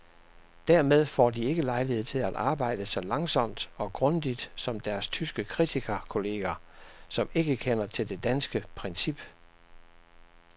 Dermed får de ikke lejlighed til at arbejde så langsomt og grundigt som deres tyske kritikerkolleger, som ikke kender til det danske princip.